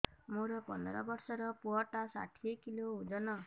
ମୋର ପନ୍ଦର ଵର୍ଷର ପୁଅ ଟା ଷାଠିଏ କିଲୋ ଅଜନ